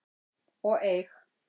og eig.